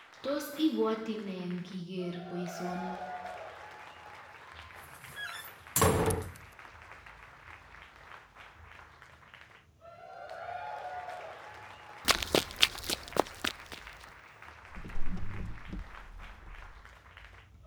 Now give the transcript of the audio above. Tos ibwoti eng ikeri boisyoni